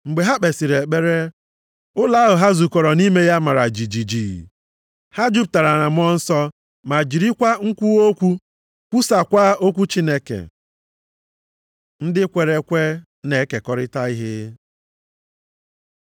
Mgbe ha kpesịrị ekpere, ụlọ ahụ ha zukọrọ nʼime ya mara jijiji. Ha jupụtara na Mmụọ Nsọ, ma jiri nkwuwa okwu kwusaakwa okwu Chineke. Ndị kwere ekwe na-ekekọrịta ihe